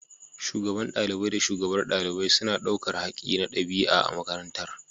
Shugaban ɗalibai da shugabar ɗalibai suna ɗaukar haƙƙi na ɗabi’a a makarantar.